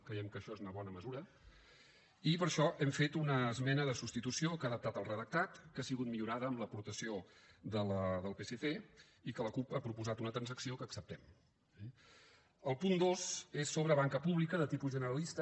creiem que això és una bona mesura i per això hem fet una esmena de substitució que n’ha adaptat el redactat que ha sigut millorada amb l’aportació del psc i la cup hi ha proposat una transacció que acceptem eh el punt dos és sobre banca pública de tipus generalista